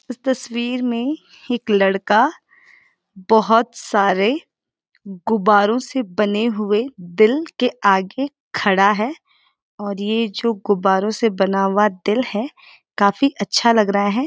इस तस्वीर मे एक लड़का बहोत सारे गुब्बारों से बने हुए दिल के आगे खड़ा है ओर यै जो गुब्बारों से बना हुआ दिल है काफी अच्छा लग रहा है।